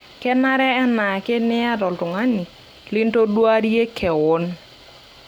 Kenare enaake niyata oltungani lintoduarie kewon.